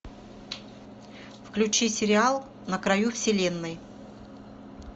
включи сериал на краю вселенной